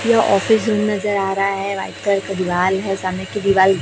ये ऑफिस भी नजर आ रहा है व्हाइट कलर का दीवाल है सामने की दिवाल --